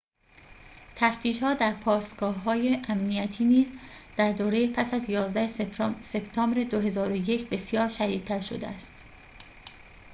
تفتیش‌ها در پاسگاه های امنیتی نیز در دوره پس از ۱۱ سپتامبر ۲۰۰۱ بسیار شدیدتر شده است